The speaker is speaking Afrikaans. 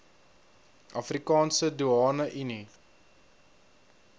afrikaanse doeane unie